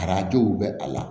Arajow bɛ a la